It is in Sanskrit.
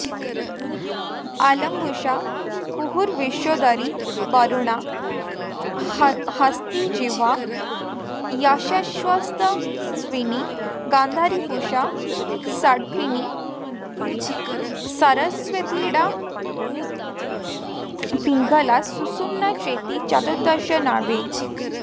अलम्बुसा कुहूर्विश्वोदरी वरुणा हस्तिजिह्वा यशस्वत्यश्विनी गान्धारी पूषा शङ्खिनी सरस्वतीडा पिङ्गला सुषुम्ना चेति चतुर्दश नाड्यः